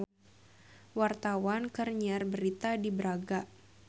Wartawan keur nyiar berita di Braga